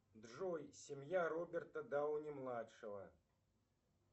джой семья роберта дауни младшего